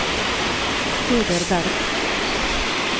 Peder Bergh